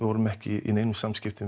vorum ekki í neinum samskiptum